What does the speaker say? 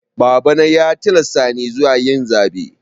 Babana ya tilasta ni zuwa yin zaɓe.